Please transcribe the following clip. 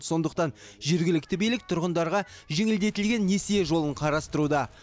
сондықтан жергілікті билік тұрғындарға жеңілдетілген несие жолын қарастыруда